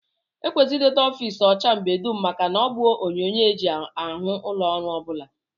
E kwesịrị idote ofiisi ọcha mgbe dum maka na ọ bụ onyonyoo e ji ahụ ụlọọrụ ọ bụla